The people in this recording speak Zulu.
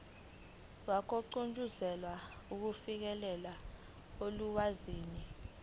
wokugqugquzela ukufinyelela olwazini